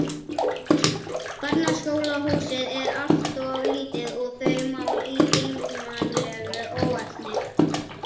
Barnaskólahúsið er alltof lítið og þau mál í geigvænlegu óefni.